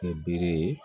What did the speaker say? Kɛ bere ye